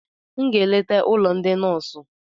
M ga-eleta ụlọ ndị nọọsụ